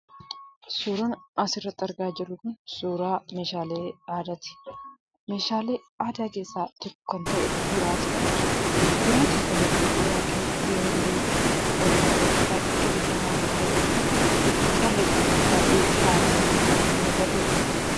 Suuraan asirratti argaa jirru kun, suuraa meeshaalee aadaati. Meeshaalee aadaa keessaa tokko kan ta'e boraatiidha jechuudha. Boraatiin kun boraatii yeroo durii oromoo biratti baayyee beekamaa kan ta'e yoo ta'u, calleedhaan baayyee faayamee kan itti mul'atuudha.